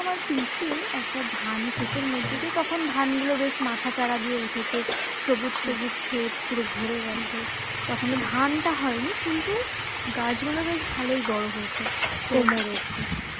আমার পিসি একটা ধানক্ষেতের মধ্যে দিয়ে তখন ধান গুলো বেশ মাথা চাড়া দিয়ে উঠেছে সবুজ সবুজ ক্ষেত পুরো ভরে গেছে তখন ধানটা হয়নি কিন্তু গাছ গুলো বেশ ভালোই বড়ো হয়েছে কোমর অব্দি